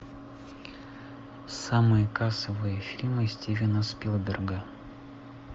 самые кассовые фильмы стивена спилберга